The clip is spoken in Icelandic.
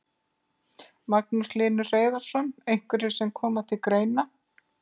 Magnús Hlynur Hreiðarsson: Einhverjir sem koma til greina?